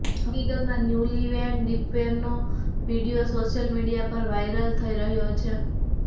હકીકતમાં ન્યૂલીવેડ દીપવીરનો video social media પર વાયરલ થઇ રહ્યો છે